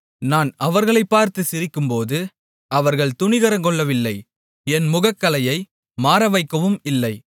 நான் அவர்களைப் பார்த்து சிரிக்கும்போது அவர்கள் துணிகரங்கொள்ளவில்லை என் முகக்களையை மாறவைக்கவும் இல்லை